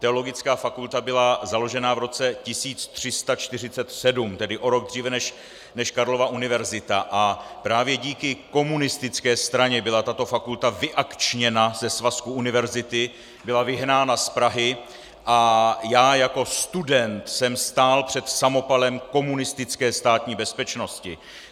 Teologická fakulta byla založena v roce 1347, tedy o rok dříve než Karlova univerzita, a právě díky komunistické straně byla tato fakulta vyakčněna ze svazku univerzity, byla vyhnána z Prahy a já jako student jsem stál před samopalem komunistické státní bezpečnosti.